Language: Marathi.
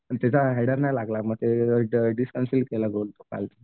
आणि त्याचा हायडर नाही लागले मग ते डिस्कन्सिल केला तो गोल काल.